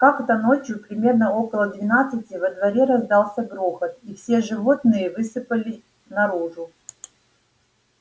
как-то ночью примерно около двенадцати во дворе раздался грохот и все животные высыпали наружу